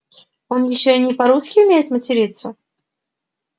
он ещё и не по-русски умеет материться